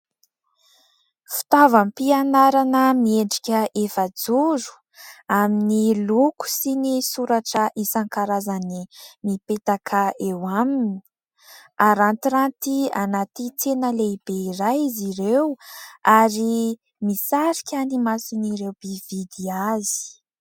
Fitaovam-pianarana miendrika efajoro amin'ny loko sy ny soratra isan-karazany mipetaka eo aminy. Arantiranty anaty tsena lehibe iray izy ireo ary misarika ny mason'ireo mpividy azy.